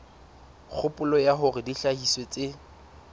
kgopolo ya hore dihlahiswa tse